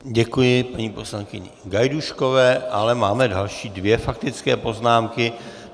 Děkuji paní poslankyně Gajdůškové, ale máme další dvě faktické poznámky.